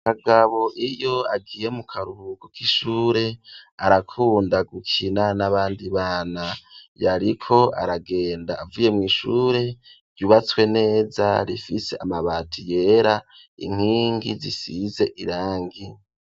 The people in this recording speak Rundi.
Kagabo iyo agiye mu karubuko k'ishure arakunda gukina n'abandi bana, yariko aragenda avuye mw,ishure ryubatswe neza rifise amabati yera inkingi zisize irangi.